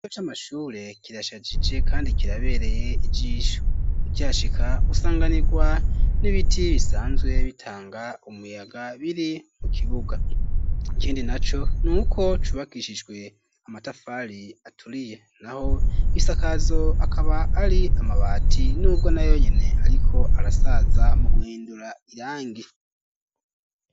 Ikigo c'amashure kirashagije, kandi kirabereye ijisho, Ukihashika usanganirwa n'ibiti bisanzwe bitanga umuyaga ,biri mu kibuga, ikindi naco nuko cubakishijwe amatafali aturiye, naho ibisakazo akaba ari amabati, n'ubwo na yonyene ariko arasaza mu guhindura irangi.